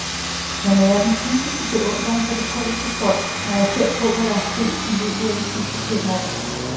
Jeg nærer den dybeste beundring for det polske folk, når jeg ser på, hvad der er sket i løbet af de sidste fem år.